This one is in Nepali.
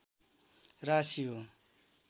राशि हो